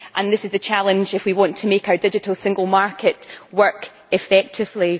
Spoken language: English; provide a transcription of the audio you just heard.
This is the challenge if we want to make our digital single market work effectively.